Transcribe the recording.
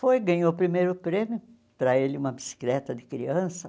Foi, ganhou o primeiro prêmio, para ele uma bicicleta de criança.